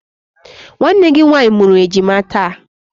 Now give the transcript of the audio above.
Nwanne gị nwaanyị mụrụ ejima taa.